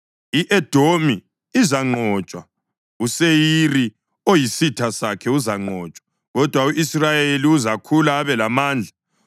I-Edomi izanqotshwa; uSeyiri, oyisitha sakhe, uzanqotshwa, kodwa u-Israyeli uzakhula abe lamandla.